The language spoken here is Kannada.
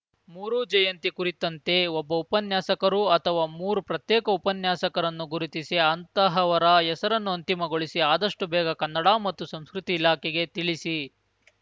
ಮೂರೂ ಜಯಂತಿ ಕುರಿತಂತೆ ಒಬ್ಬ ಉಪನ್ಯಾಸಕರು ಅಥವಾ ಮೂರು ಪ್ರತ್ಯೇಕ ಉಪನ್ಯಾಸಕರನ್ನು ಗುರುತಿಸಿ ಅಂತಹವರ ಹೆಸರನ್ನು ಅಂತಿಮಗೊಳಿಸಿ ಆದಷ್ಟುಬೇಗ ಕನ್ನಡ ಮತ್ತು ಸಂಸ್ಕೃತಿ ಇಲಾಖೆಗೆ ತಿಳಿಸಿ